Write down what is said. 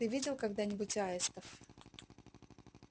ты видел когда нибудь аистов